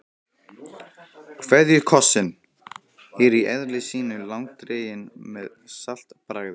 KVEÐJUKOSSINN er í eðli sínu langdreginn með saltbragði.